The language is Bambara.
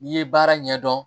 N'i ye baara ɲɛdɔn